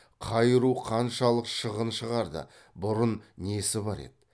қай ру қаншалық шығын шығарды бұрын несі бар еді